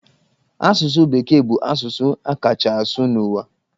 Asụsụ bekee bụ asụsụ a kachaa asụ n'ụwa.